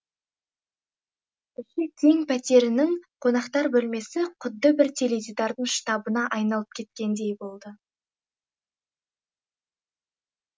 іші кең пәтерінің қонақтар бөлмесі құдды бір теледидардың штабына айналып кеткендей болды